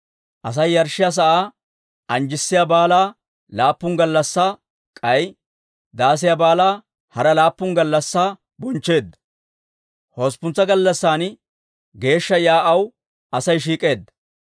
Asay yarshshiyaa sa'aa anjjissiyaa baalaa laappun gallassaa, k'ay Daasiyaa Baalaa hara laappun gallassaa bonchcheedda. Hosppuntsa gallassan geeshsha yaa'aw Asay shiik'eedda.